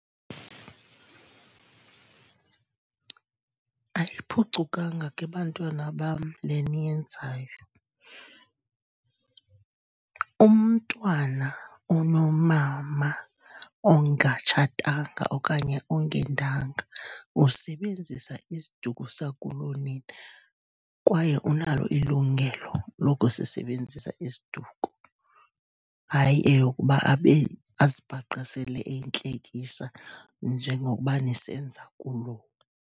Ayiphucukanga ke, bantwana bam, le niyenzayo. Umntwana onomama ongatshatanga okanye ongendanga usebenzisa isiduko sakulonina, kwaye unalo ilungelo lokusisebenzisa isiduko. Hayi eyokuba abe, azibhaqe sele eyintlekisa, njengokuba nisenza kuloo.